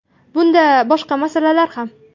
Bunda boshqa masalalar ham.